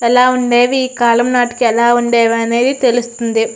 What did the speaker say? ఎలా ఉండేవి ఈ కాలం నాటికీ ఎలా ఉండేవనేది తెలుస్తుంది.